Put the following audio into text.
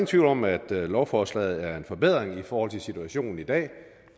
tvivl om at lovforslaget er en forbedring i forhold til situationen i dag